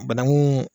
Bananku